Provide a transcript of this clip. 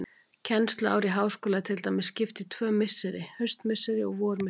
Kennsluári í háskóla er til dæmis skipt í tvö misseri, haustmisseri og vormisseri.